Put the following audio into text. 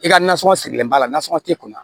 I ka nasɔngɔ sigilen b'a la nasɔngɔ tɛ kunna